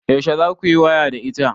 Yaushe za ku yi waya da ita?